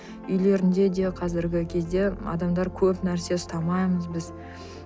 үйлерінде де қазіргі кезде адамдар көп нәрсе ұстамаймыз біз